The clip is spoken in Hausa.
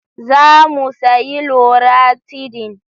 Za mu sayi loratidin.